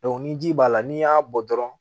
ni ji b'a la n'i y'a bɔ dɔrɔn